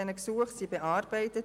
1959 Gesuche wurden bearbeitet.